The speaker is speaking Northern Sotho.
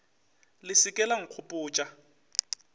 le se ke la nkgopotša